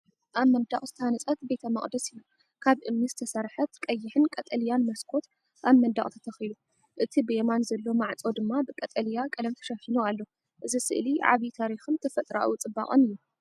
ኣብ መንደቕ ዝተሃንጸት ቤተ መቕደስ እዩ፣ ካብ እምኒ ዝተሰርሐት፤ ቀይሕን ቀጠልያን መስኮት ኣብ መንደቕ ተተኺሉ፣ እቲ ብየማን ዘሎ ማዕጾ ድማ ብቀጠልያ ቀለም ተሸፊኑ ኣሎ። እዚ ስእሊ ዓቢ ታሪኽን ተፈጥሮኣዊ ጽባቐን እዩ።